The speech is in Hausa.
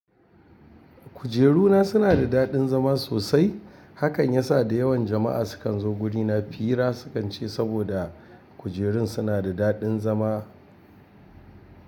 Kujeru na suna da daɗin zama sosai. Hakan ya sa da yawan jama’a su kan zo guri na fira, su kan ce saboda kujerun suna da daɗin zama.